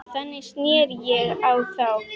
Þannig sneri ég á þá.